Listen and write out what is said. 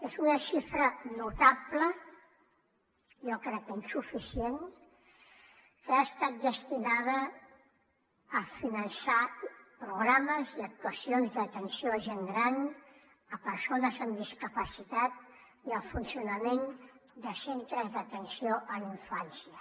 és una xifra notable jo crec que insuficient que ha estat destinada a finançar programes i actuacions d’atenció a gent gran a persones amb discapacitat i al funcionament de centres d’atenció a la infància